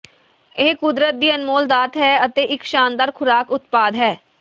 ਇਹ ਕੁਦਰਤ ਦੀ ਅਨਮੋਲ ਦਾਤ ਹੈ ਅਤੇ ਇੱਕ ਸ਼ਾਨਦਾਰ ਖੁਰਾਕ ਉਤਪਾਦ ਹੈ